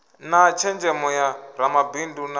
na tshenzhemo ya ramabindu na